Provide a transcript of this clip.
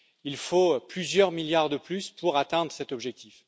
Il faut plusieurs milliards de plus pour atteindre cet objectif.